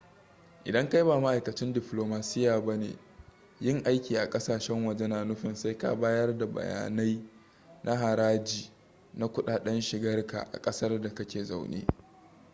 idan kai ba ma'aikacin diflomasiya ba ne yin aiki a kasashen waje na nufin sai ka bayar da bayanan haraji na kudaden shigarka a kasar da kake zaune